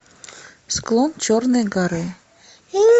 склон черной горы